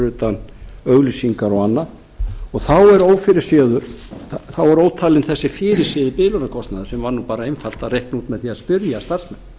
utan auglýsingar og annað og þá er ófyrirséður þessi biðlaunakostnaður sem var nú bara einfalt að reikna út með því að spyrja starfsmenn